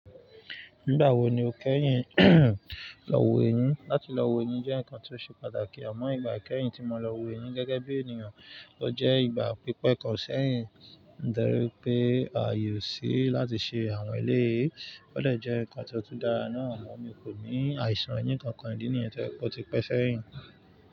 Nígbà wo ni o kẹ́yìn lọ wo eyín? Láti lọ wo eyín jẹ́ nǹkan tó ṣe pàtàkì. Àmọ́ ìgbà ikẹ́yìn tí mo lọ wo eyín gẹ́gẹ́ bí ènìyàn, o jẹ́ ìgbà pípẹ́ kan sẹ́yìn. Dárí pé ààye o sí láti ṣe àwọn èlé yẹ ọ̀de jẹ́ nǹkan tó tú dára náà mọ́. Mi kò ní àìsàn eyín kankan, ìdí nìyẹn to je pe oti pẹ́ sẹ́yìn.